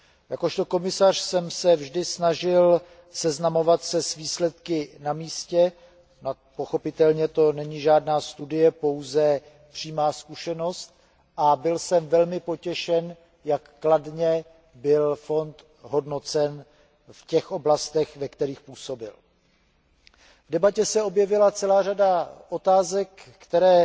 Jakožto komisař jsem se vždy snažil seznamovat se s výsledky na místě, pochopitelně to není žádná studie, pouze přímá zkušenost, a byl jsem velmi potěšen, jak kladně byl fond hodnocen v těch oblastech, ve kterých působil. V debatě se objevila celá řada otázek, které